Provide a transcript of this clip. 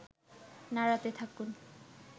নাড়াতে থাকুন